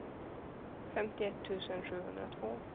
femtioett tusen sjuhundratvå